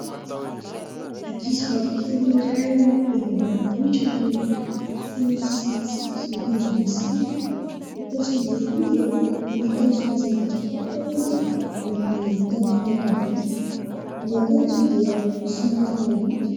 Ankizivavy kely iray izay eny ambanivohitra no mifaly sy mitsiky mitazona ny sariny ; ankoatra izay koa dia mitazona zavatra hafa ny azy amin'ny tanany ankavia. Ny akanjony dia somary maloto.